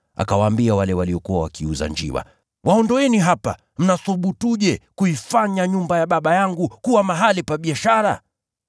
Akawaambia wale waliokuwa wakiuza njiwa, “Waondoeni hapa! Mnathubutuje kuifanya nyumba ya Baba yangu kuwa mahali pa biashara?”